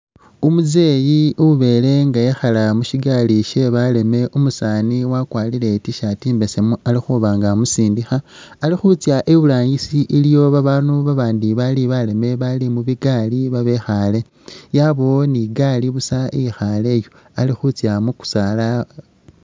Umuzeeyi ubeele nga ekhaale mushigaali she'baleme, umusaani wakwarire i't-shirt imbesemu ali khuba nga amusindikha, ali khutsa iburangisi iliyo babaandu babandi bali baleme bali mubigaali babekhaale, yabaawo ni gaali busa ikhaleyo, ali khutsila mukusaala